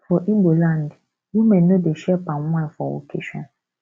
for ibo land women no dey share palm wine for occasion